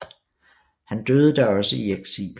Han døde da også i eksil